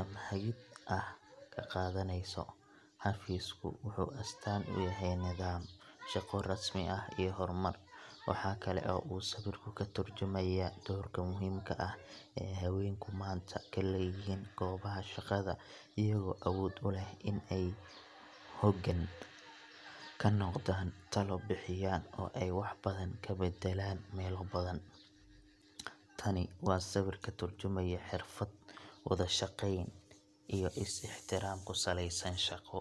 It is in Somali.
ama hagid ah ka qaadaneyso. Xafiisku wuxuu astaan u yahay nidaam, shaqo rasmi ah, iyo horumar. Waxa kale oo uu sawirku ka tarjumayaa doorka muhiimka ah ee haweenku maanta ku leeyihiin goobaha shaqada iyagoo awood u leh in ay hoggaan ka noqdaan, talo bixiyaan, oo ay wax badan ka beddelaan meelo badan. Tani waa sawir ka tarjumaya xirfad, wada-shaqeyn, iyo is-ixtiraam ku saleysan shaqo.